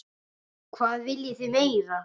Hvað viljið þið meira?